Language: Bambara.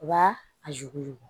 U b'a a ju